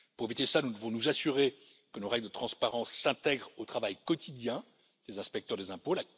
Afin d'éviter cela, nous devons nous assurer que nos règles de transparence s'intègrent au travail quotidien des inspecteurs des impôts.